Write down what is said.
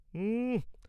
উঃ!